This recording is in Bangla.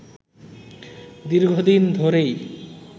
দীর্ঘদিন ধরেই